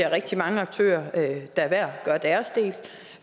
rigtig mange aktører der hver gør deres del